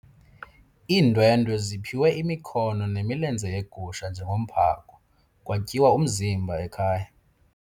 Iindwendwe ziphiwe imikhono nemilenze yegusha njengomphako kwatyiwa umzimba ekhaya.